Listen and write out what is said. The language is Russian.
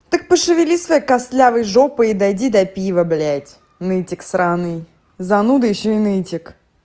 так пошевели своей костлявой жопой дойди до пива блядь нытик сраный зануда ещё и нытик